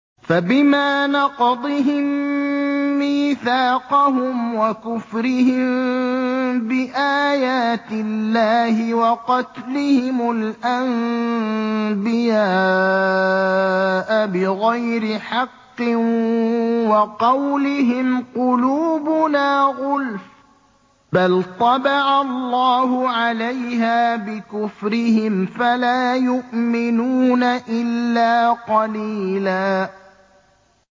فَبِمَا نَقْضِهِم مِّيثَاقَهُمْ وَكُفْرِهِم بِآيَاتِ اللَّهِ وَقَتْلِهِمُ الْأَنبِيَاءَ بِغَيْرِ حَقٍّ وَقَوْلِهِمْ قُلُوبُنَا غُلْفٌ ۚ بَلْ طَبَعَ اللَّهُ عَلَيْهَا بِكُفْرِهِمْ فَلَا يُؤْمِنُونَ إِلَّا قَلِيلًا